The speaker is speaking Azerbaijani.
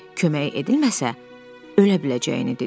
Kömək edilməsə, ölə biləcəyini dedi.